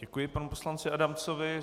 Děkuji panu poslanci Adamcovi.